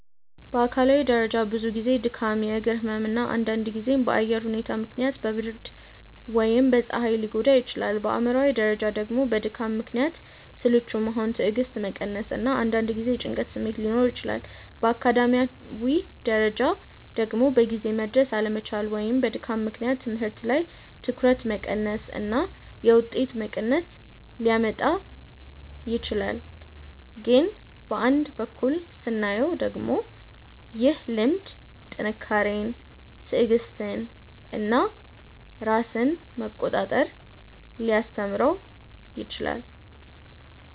በአካላዊ ደረጃ ብዙ ጊዜ ድካም፣ የእግር ህመም እና አንዳንድ ጊዜም በአየር ሁኔታ ምክንያት በብርድ ወይም በፀሐይ ሊጎዳ ይችላል። በአእምሯዊ ደረጃ ደግሞ በድካም ምክንያት ስልቹ መሆን፣ ትዕግስት መቀነስ እና አንዳንድ ጊዜ የጭንቀት ስሜት ሊኖር ይችላል። በአካዳሚያዊ ደረጃ ደግሞ በጊዜ መድረስ አለመቻል ወይም በድካም ምክንያት ትምህርት ላይ ትኩረት መቀነስ እና የውጤት መቀነስ ሊያመጣ ይችላል። ግን በአንድ በኩል ስናየው ደግሞ ይህ ልምድ ጥንካሬን፣ ትዕግስትን እና ራስን መቆጣጠር ሊያስተምረው ይችላል